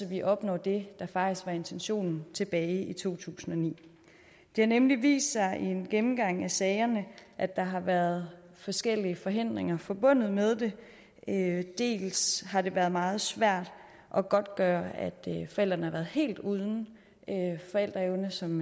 vi opnår det der faktisk var intentionen tilbage i to tusind og ni det har nemlig vist sig i en gennemgang af sagerne at der har været forskellige forhindringer forbundet med det dels har det været meget svært at godtgøre at forældrene har været helt uden forældreevne som